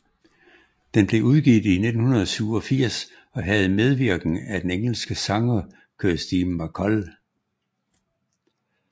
Den blev udgivet i 1987 og havde medvirken af den engelske sanger Kirsty MacColl